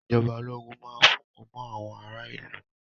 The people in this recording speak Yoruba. Ìjọba ológun máa fúngun mọ àwọn ará ìlú.